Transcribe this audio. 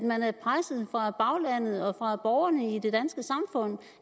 man er presset af baglandet og af borgerne i det danske samfund